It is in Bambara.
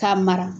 K'a mara